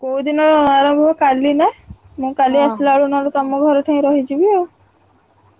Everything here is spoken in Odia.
କୋଉଦିନ ଆରମ୍ଭ ହବ କାଲି ନା ନହେଲେ କାଲି ଆସିଲାବେଳକୁ ନହେଲେ ତମ ଘର ଠେଇଁ ରହିଯିବି ଆଉ।